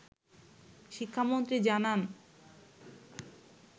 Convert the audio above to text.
শিক্ষামন্ত্রী জানান